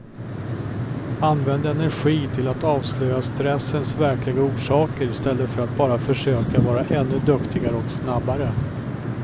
Använd energi till att avslöja stressens verkliga orsaker istället för att bara försöka vara ännu duktigare och snabbare.